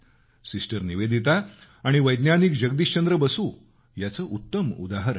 sister Nivedita आणि वैज्ञानिक जगदीशचंद्र बसू याचं उत्तम उदाहरण आहे